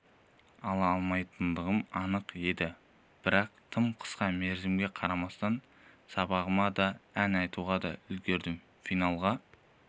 алмайтындығым анық еді бірақ тым қысқа мерзімге қарамастан сабағыма да ән айтуға да үлгердім финалға